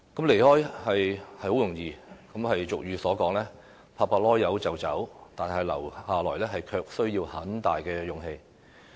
離開是很容易，俗語有云：拍拍屁股就走，但留下來卻需要很大的勇氣。